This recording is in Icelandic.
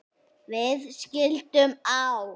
Við skildum á